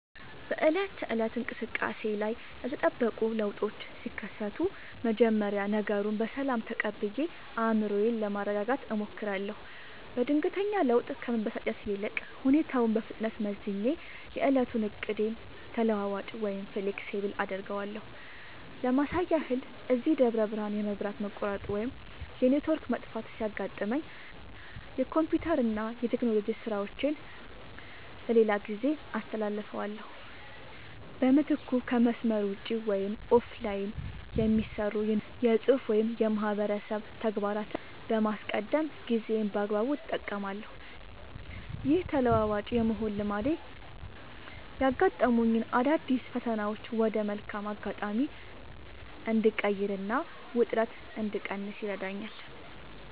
በዕለት ተዕለት እንቅስቃሴዬ ላይ ያልተጠበቁ ለውጦች ሲከሰቱ፣ መጀመሪያ ነገሩን በሰላም ተቀብዬ አእምሮዬን ለማረጋጋት እሞክራለሁ። በድንገተኛ ለውጥ ከመበሳጨት ይልቅ፣ ሁኔታውን በፍጥነት መዝኜ የዕለቱን ዕቅዴን ተለዋዋጭ (Flexible) አደርገዋለሁ። ለማሳያ ያህል፣ እዚህ ደብረ ብርሃን የመብራት መቆራረጥ ወይም የኔትወርክ መጥፋት ሲያጋጥመኝ፣ የኮምፒውተርና የቴክኖሎጂ ሥራዎቼን ለሌላ ጊዜ አስተላልፋለሁ። በምትኩ ከመስመር ውጭ (Offline) የሚሰሩ የንባብ፣ የፅሁፍ ወይም የማህበረሰብ ተግባራትን በማስቀደም ጊዜዬን በአግባቡ እጠቀማለሁ። ይህ ተለዋዋጭ የመሆን ልማዴ ያጋጠሙኝን አዳዲስ ፈተናዎች ወደ መልካም አጋጣሚ እንድቀይርና ውጥረት እንድቀንስ ይረዳኛል።